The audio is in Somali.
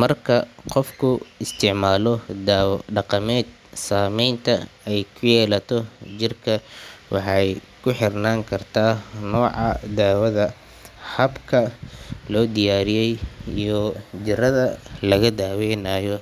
Marka qofku isticmaalo dawo dhaqameed, saamaynta ay ku yeelato jirka waxay ku xirnaan kartaa nooca daawada, habka loo diyaariyay, iyo jirrada lagu daweynayo.